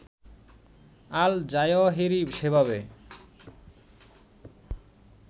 আল Zawahiri সেভাবে